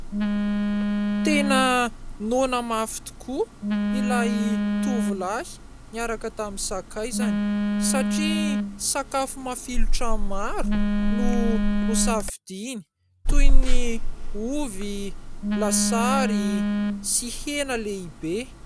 Tena noana mafy tokoa ilay tovolahy niaraka tamin'ny sakaizany satria sakafo mafilotra maro no nosafidiany toy ny ovy, lasary sy hena lehibe.